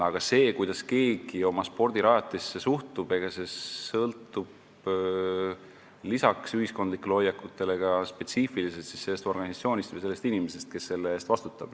Aga see, kuidas keegi oma spordirajatisse suhtub, sõltub lisaks ühiskondlikele hoiakutele ka spetsiifiliselt sellest organisatsioonist või inimesest, kes selle eest vastutab.